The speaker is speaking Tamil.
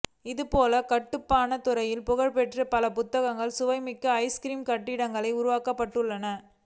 இதுபோல் கட்டுமானத் துறையில் புகழ்பெற்ற பல புத்தகங்கள் சுவை மிக்க ஐஸ்கிரீம் கட்டிடங்களாக உருவாக்கப்பட்டுள்ளன